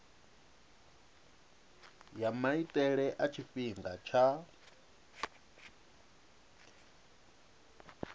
ya maitele a tshifhinga tsha